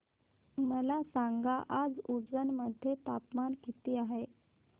मला सांगा आज उज्जैन मध्ये तापमान किती आहे